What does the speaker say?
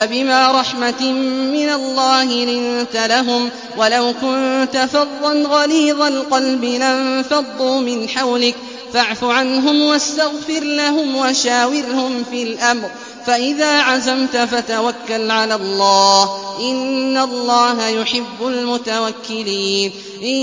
فَبِمَا رَحْمَةٍ مِّنَ اللَّهِ لِنتَ لَهُمْ ۖ وَلَوْ كُنتَ فَظًّا غَلِيظَ الْقَلْبِ لَانفَضُّوا مِنْ حَوْلِكَ ۖ فَاعْفُ عَنْهُمْ وَاسْتَغْفِرْ لَهُمْ وَشَاوِرْهُمْ فِي الْأَمْرِ ۖ فَإِذَا عَزَمْتَ فَتَوَكَّلْ عَلَى اللَّهِ ۚ إِنَّ اللَّهَ يُحِبُّ الْمُتَوَكِّلِينَ